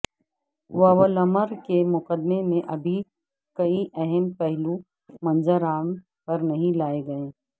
Woolmer کے مقدمے میں ابھی کئی اہم پہلو منظر عام پر نہیں لائے گئے